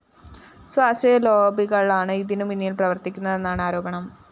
സ്വാശ്രയ ലോബികളാണ് ഇതിനു പിന്നില്‍ പ്രവര്‍ത്തിക്കുന്നതെന്നാണ് ആരോപണം